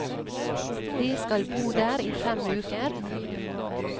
De skal bo der i fem uker.